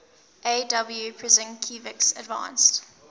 aw prusinkiewicz advanced